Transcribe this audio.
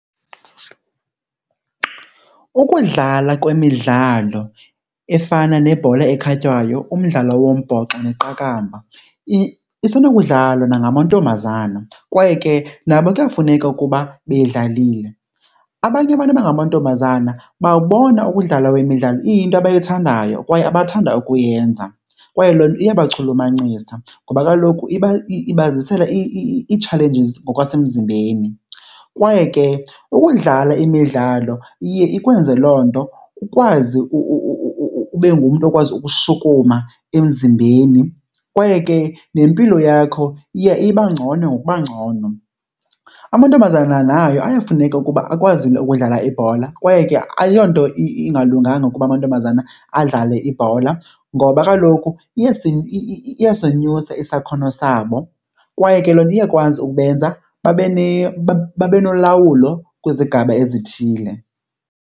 Ukudlala kwemidlalo efana nebhola ekhatywayo, umdlalo wombhoxo neqakamba isenokudlalwa nangamantombazana kwaye ke nabo kuyafuneka ukuba beyidlalile. Abanye abantu abangamantombazana babona ukudlala kwemidlalo iyinto abayithandayo kwaye abathanda ukuyenza kwaye loo nto iyabachulumancisa ngoba kaloku ibazisela ii-challenges ngokwasemzimbeni. Kwaye ke ukudlala imidlalo iye ikwenze loo nto ukwazi ube ngumntu okwazi ukushukuma emzimbeni kwaye ke nempilo yakho iya iba ngcono ngokuba ngcono. Amantombazana nayo ayafuneka ukuba akwazi ukudlala ibhola kwaye ke ayonto ingalunganga ukuba amantombazana adlale ibhola, ngoba kaloku iyasenyusa isakhono sabo kwaye ke loo nto iyakwazi ukubenza babe nolawulo kwizigaba ezithile.